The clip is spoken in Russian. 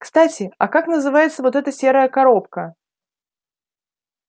кстати а как называется вот эта серая коробка